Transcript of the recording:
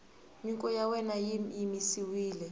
nyiko ya wena yi yimisiwile